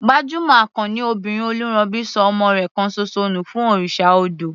Gbajúmọ̀ akọni obìnrin Oluronbi ṣọ ọmọ rẹ̀ kan ṣoṣo nù fún òrìṣà odò.